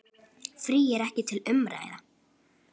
Frí er ekki til umræðu.